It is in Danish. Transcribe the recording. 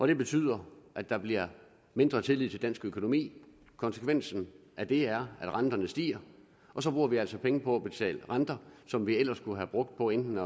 det betyder at der bliver mindre tillid til dansk økonomi og konsekvensen af det er at renterne stiger og så bruger vi altså penge på at betale renter som vi ellers kunne have brugt på enten